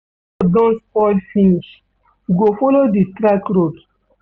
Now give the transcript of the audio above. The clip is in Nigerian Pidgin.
Di main road don spoil finish, we go folo di track road.